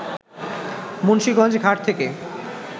মুন্সীগঞ্জ ঘাট থেকে